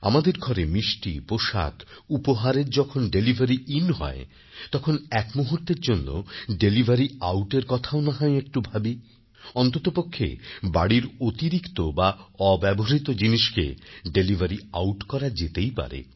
আমাদের ঘরে মিষ্টি পোশাক উপহারের যখন ডেলিভারিইন হয় তখন এক মুহূর্তের জন্য ডেলিভারি আউটএর কথাও না হয় একটু ভাবি অন্ততপক্ষে বাড়ির অতিরিক্ত বা অব্যবহৃত জিনিসকে ডেলিভারিআউট করা যেতেই পারে